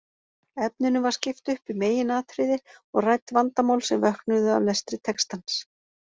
Efninu var skipt upp í meginatriði og rædd vandamál sem vöknuðu af lestri textans.